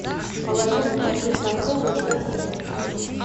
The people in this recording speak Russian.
положи муку предпортовую в корзину